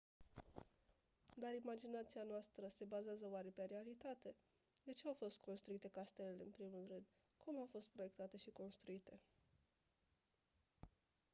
dar imaginația noastră se bazează oare pe realitate de ce au fost construite castelele în primul rând cum au fost proiectate și construite